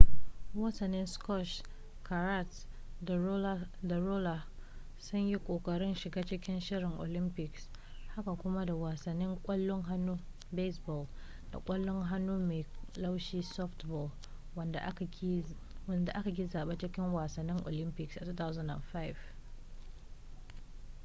wasannin squash karate da roller sun yi kokarin shiga cikin shirin olympics haka kuma da wasannin kwallon hannu baseball da kwallon hannu mai laushi softball wadanda aka ƙi zaba cikin wasannin olympics a 2005